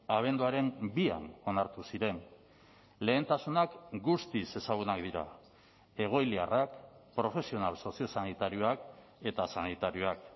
abenduaren bian onartu ziren lehentasunak guztiz ezagunak dira egoiliarrak profesional soziosanitarioak eta sanitarioak